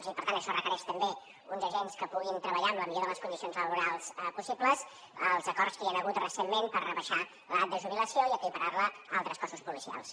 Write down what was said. i per tant això requereix també uns agents que puguin treballar en les millors condicions laborals possibles els acords que hi ha hagut recentment per rebaixar l’edat de jubilació i equiparar la a altres cossos policials